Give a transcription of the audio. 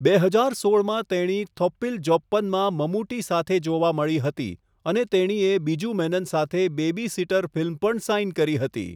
બે હજાર સોળમાં તેણી 'થોપ્પીલ જોપ્પન' માં મમૂટી સાથે જોવા મળી હતી અને તેણીએ બીજુ મેનન સાથે 'બેબી સિટર' ફિલ્મ પણ સાઇન કરી હતી.